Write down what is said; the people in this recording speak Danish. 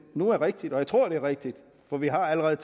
nu er rigtigt og jeg tror det er rigtigt for vi har allerede